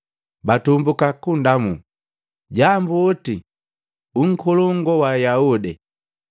Batumbuka kundamuu, “Jambuoti, u Nkolongu wa Ayaude!”